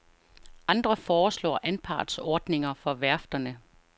Andre foreslår anpartsordninger for værfterne.